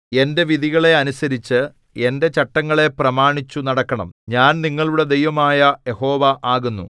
എന്റെ വിധികളെ അനുസരിച്ച് എന്റെ ചട്ടങ്ങളെ പ്രമാണിച്ചു നടക്കണം ഞാൻ നിങ്ങളുടെ ദൈവമായ യഹോവ ആകുന്നു